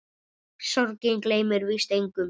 Sorgin gleymir víst engum.